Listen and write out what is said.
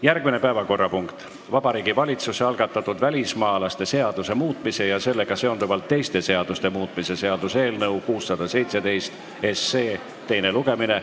Järgmine päevakorrapunkt on Vabariigi Valitsuse algatatud välismaalaste seaduse muutmise ja sellega seonduvalt teiste seaduste muutmise seaduse eelnõu 617 teine lugemine.